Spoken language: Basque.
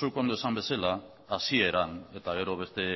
zuk ondo esan bezala hasieran eta gero beste